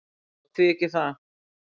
"""Já, því ekki það?"""